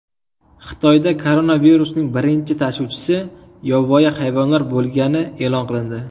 Xitoyda koronavirusning birinchi tashuvchisi yovvoyi hayvonlar bo‘lgani e’lon qilindi.